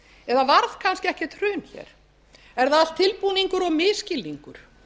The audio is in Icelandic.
eða varð kannski ekkert hrun hér er það allt tilbúningur og misskilningur